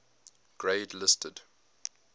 grade listed